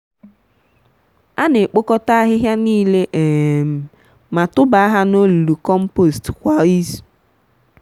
ana ekpokota ahịhịa niile um ma tụba ha n'olulu compost kwa izu.